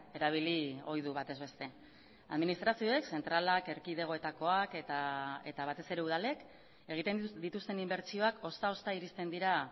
erabili ohi du batez beste administrazioek zentralak erkidegoetakoak eta batez ere udalek egiten dituzten inbertsioak ozta ozta iristen dira